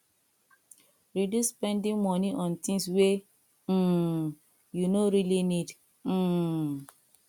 reduce spending money on things wey um you no really need um